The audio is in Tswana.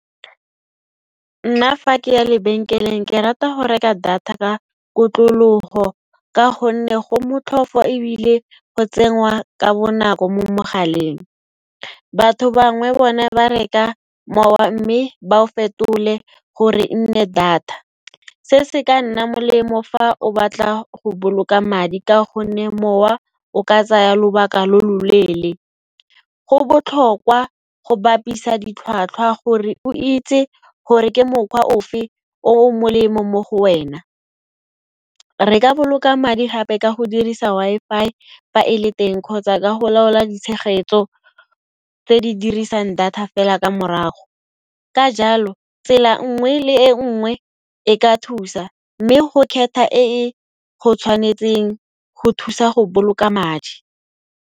Nna fa ke ya lebenkeleng ke rata go reka data ka kotlologo ka gonne go motlhofo ebile go tsenngwa ka bonako mo mogaleng. Batho bangwe bone ba reka mowa mme ba o fetole gore e nne data. Se se ka nna molemo fa o batla go boloka madi ka gonne mowa o ka tsaya lobaka lo lo leele. Go botlhokwa go bapisa ditlhwatlhwa gore o itse gore ke mokgwa ofe o o molemo mo go wena. Re ka boloka madi gape ka go dirisa Wi-Fi fa e le teng kgotsa ka go laola ditshegetso tse di dirisang data fela ka morago. Ka jalo, tsela nngwe le e nngwe, e ka thusa mme go kgetha e e go tshwanetseng go thusa go boloka madi.